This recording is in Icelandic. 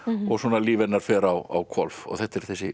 og líf hennar fer á hvolf og þetta er þessi